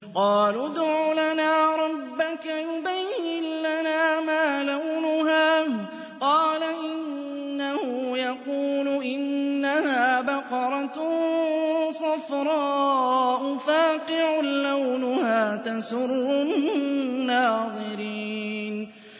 قَالُوا ادْعُ لَنَا رَبَّكَ يُبَيِّن لَّنَا مَا لَوْنُهَا ۚ قَالَ إِنَّهُ يَقُولُ إِنَّهَا بَقَرَةٌ صَفْرَاءُ فَاقِعٌ لَّوْنُهَا تَسُرُّ النَّاظِرِينَ